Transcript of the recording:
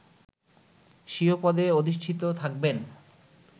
স্বীয় পদে অধিষ্ঠিত থাকবেন